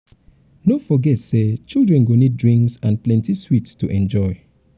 no forget say children go need drinks and um plenty sweets to enjoy.